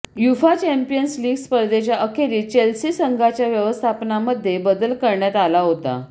UEFA Champions League स्पर्धेच्या अखेरीस Chelsea संघाच्या व्यवस्थापकामध्ये बदल करण्यात आला होता